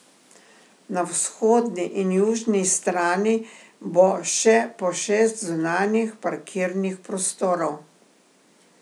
Na vzhodni in južni strani bo še po šest zunanjih parkirnih prostorov.